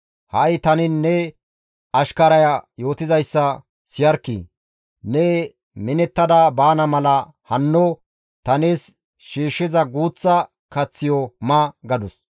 Ha7i tani ne ashkaraya yootizayssa siyarkkii! Ne minettada baana mala hanno ta nees shiishshiza guuththa kaththiyo ma» gadus.